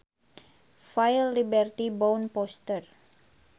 File Liberty bound poster